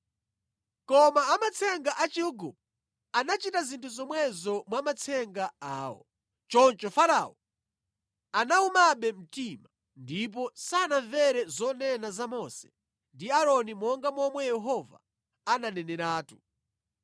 Koma amatsenga a Chiigupto anachita zinthu zomwezo mwa matsenga awo. Choncho Farao anawumabe mtima, ndipo sanamvere zonena za Mose ndi Aaroni monga momwe Yehova ananeneratu.